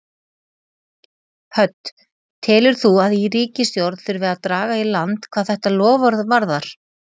Hödd: Telur þú að í ríkisstjórn þurfi að draga í land hvað þetta loforð varðar?